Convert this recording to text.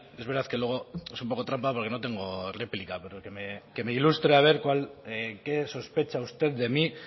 es verdad que luego es un poco trampa porque no tengo réplica pero que me ilustre a ver qué sospecha usted de mí